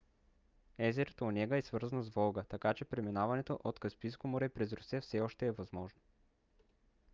езерото онега е свързано с волга така че преминаването от каспийско море през русия все още е възможно